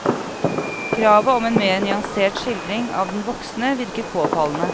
Kravet om en mer nyansert skildring av den voksne virker påfallende.